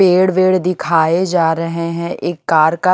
पेड़ वेड़ दिखाए जा रहे हैं एक कार का --